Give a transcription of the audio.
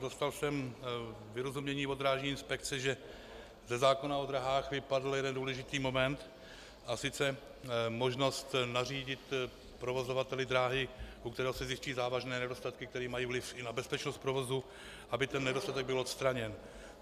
Dostal jsem vyrozumění od Drážní inspekce, že ze zákona o dráhách vypadl jeden důležitý moment, a sice možnost nařídit provozovateli dráhy, u kterého se zjistí závažné nedostatky, které mají vliv i na bezpečnost provozu, aby ten nedostatek byl odstraněn.